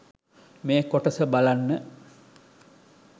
මේ කොටස බලන්න